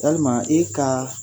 Yalima i ka